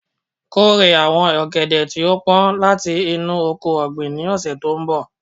Kore awọn ogede ti o pọn lati inu oko-ọgbin ni ọsẹ to nbọ